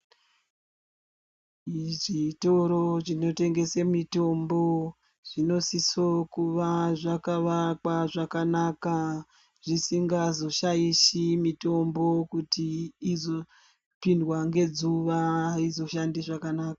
Muzvitoro chinotengesa mitomɓo zvinosiso kuva zvakavakwa zvakanaka zvisingazoshaishi mitombo kuti izopindwa ngezuwa aizoshandi zvakanaka.